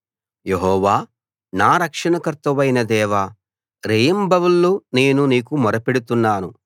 యెహోవా నా రక్షణకర్తవైన దేవా రేయింబవళ్ళు నేను నీకు మొరపెడుతున్నాను